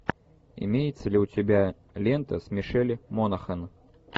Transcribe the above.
имеется ли у тебя лента с мишель монахэн